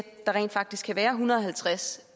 der rent faktisk kan være en hundrede og halvtreds